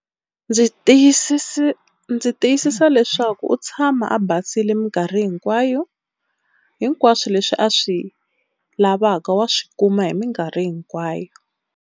Ndzi ndzi tiyisisa leswaku u tshama a basile minkarhi hinkwayo, hinkwaswo leswi a swi lavaka wa swi kuma hi minkarhi hinkwayo.